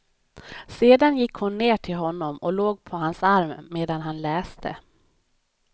Sedan gick hon ner till honom och låg på hans arm medan han läste.